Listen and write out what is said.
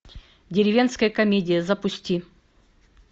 деревенская комедия запусти